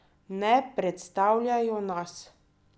Ne predstavljajo nas!